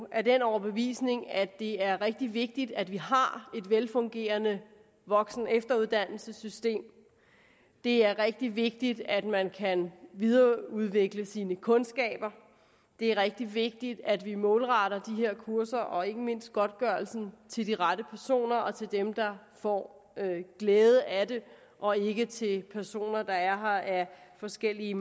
af den overbevisning at det er rigtig vigtigt at vi har et velfungerende voksen og efteruddannelsessystem det er rigtig vigtigt at man kan videreudvikle sine kundskaber det er rigtig vigtigt at vi målretter de her kurser og ikke mindst godtgørelsen til de rette personer og til dem der får glæde af det og ikke til personer der er her af forskellige